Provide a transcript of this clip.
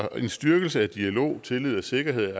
at en styrkelse af dialog tillid og sikkerhed